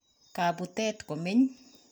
Kaputet komeny